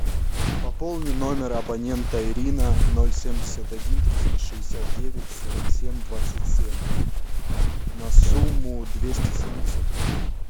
пополни номер абонента ирина ноль семьдесят один триста шестьдесят девять сорок семь двадцать семь на сумму двести семьдесят рублей